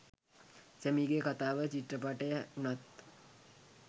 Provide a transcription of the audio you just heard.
සැමීගේ කතාව චිත්‍රපටය වුණත්